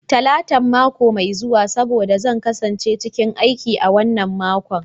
Talatan mako mai zuwa saboda zan kasance cikin aiki a wannan makon.